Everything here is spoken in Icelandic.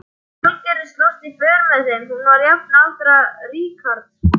Valgerður slóst í för með þeim, hún var jafnaldra Richards.